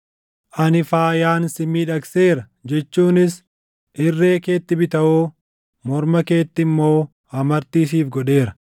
Ani faayaan si miidhagseera jechuunis irree keetti bitawoo, morma keetti immoo amartii siif godheera;